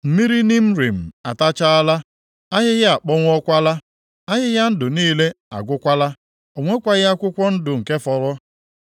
Mmiri Nimrim atachaala! Ahịhịa akpọnwụọkwala; ahịhịa ndụ niile agwụkwala o nwekwaghị akwụkwọ ndụ nke fọrọ.